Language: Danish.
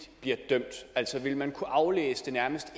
bliver dømt altså vil man kunne aflæse det nærmest